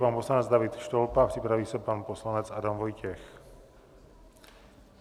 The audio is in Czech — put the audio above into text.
Pan poslanec David Štolpa, připraví se pan poslanec Adam Vojtěch.